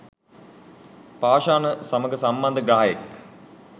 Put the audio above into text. පාෂාණ සමඟ සම්බන්ධ ග්‍රහයෙක්.